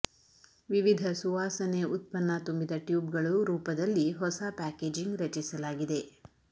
ವಿವಿಧ ಸುವಾಸನೆ ಉತ್ಪನ್ನ ತುಂಬಿದ ಟ್ಯೂಬ್ಗಳು ರೂಪದಲ್ಲಿ ಹೊಸ ಪ್ಯಾಕೇಜಿಂಗ್ ರಚಿಸಲಾಗಿದೆ